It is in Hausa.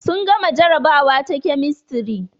Sun gama jarabawa ta kemistri